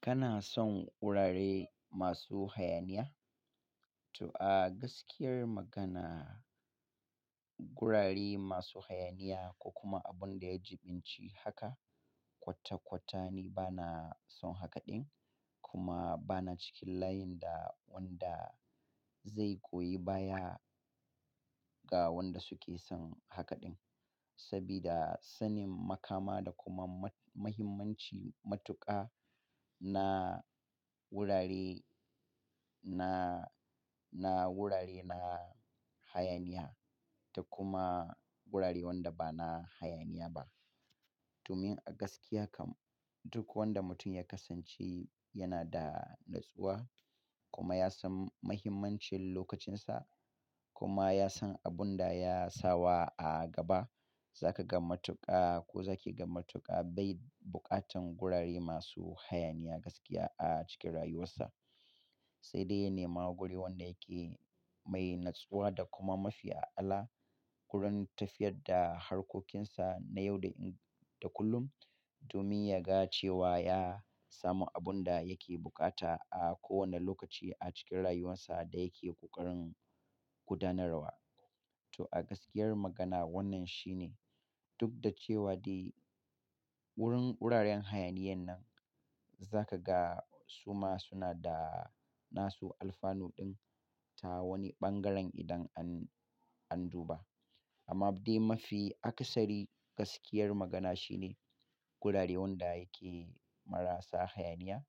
Kana son gurare masu hayaniya? To a gaskiyar magana, gurare masu hayaniya ko kuma abun da ya jiɓinci haka kwata-kwata ni bana son haka ɗin kuma bana cikin layin da wanda zai koyi baya ga wanda suke son haka ɗin. Sabida sanin makama da kuma mahimmanci matuƙa na gurare, na, na gurare na hayaniya da kuma gurare wanda bana hayaniya ba. Domin a gaskiya kam duk wanda mutum ya kasance yana da natsuwa kuma ya san mahimmancin lokacinsa kuma ya san abun da ya sawa a gaba, zaka ga matuƙa ko zaki ga matuƙa bai buƙatan gurare masu hayaniya gaskiya a cikin rayuwarsa. Sai dai ya nema guri wanda yake mai natsuwa da kuma mafi ala wurin tafiyar da harkokinsa na yau da kullum. Domin ya ga cewa ya samu abun da yake buƙata a kowane lokaci a cikin rayuwarsa da yake ƙoƙarin gudanarwa. To a gaskiyar magana wannan shine duk da cewa dai wurin guraren hayaniyan nan zaka ga suma suna da nasu alfanu ɗin ta wani bangaren idan an, an duba. Amma dai mafi aksari gaskiyar magana shine gurare wanda yake marasa hayaniya